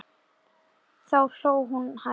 Þá hló hún hæst.